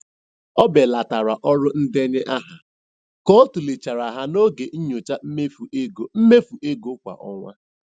Ọ belatara ọrụ ndenye aha ka ọ tụlechara ha n'oge nyocha mmefu ego mmefu ego kwa ọnwa.